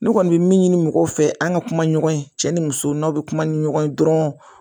Ne kɔni bɛ min ɲini mɔgɔw fɛ an ka kuma ɲɔgɔn ye cɛ ni muso n'aw bɛ kuma ni ɲɔgɔn ye dɔrɔn